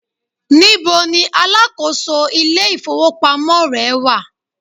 níbo ní alákóso ilé ifowópamọ́ rẹ wà